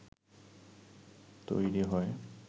তৈরী হয়